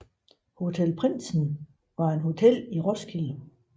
Hotel Prindsen var et hotel i Roskilde